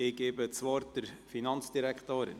Ich gebe das Wort der Finanzdirektorin.